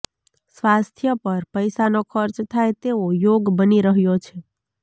સ્વાસ્થ્ય પર પૈસાનો ખર્ચ થાય તેવો યોગ બની રહ્યો છે